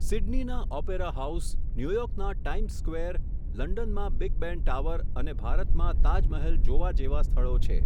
સિડનીના opera house, new યોર્કના times square, લંડનમા big બેન tower અને ભારત માં તાજમહલ જોવા જેવા સ્થળો છે.